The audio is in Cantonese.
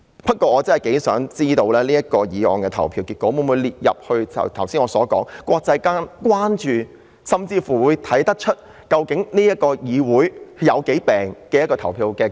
不過，我真的想知道這項議案的投票結果會否成為國際間關注的事情，甚或從中看出這個議會病得有多嚴重。